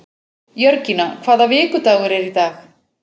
Jörgína, hvaða vikudagur er í dag?